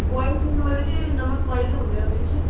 boil ਕਰਨ ਵੇਲੇ ਤੇ ਨਮਕ ਪਾਈ ਦਾ ਹੁੰਦਾ ਉਹਦੇ ਵਿੱਚ